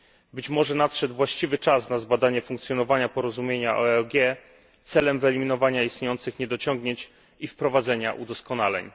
Być może nadszedł właściwy czas na zbadanie funkcjonowania porozumienia o EOG, celem wyeliminowania istniejących niedociągnięć i wprowadzenia udoskonaleń.